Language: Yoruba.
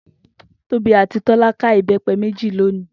Tobi àti Tọ́lá ká ibepé méjì lòní.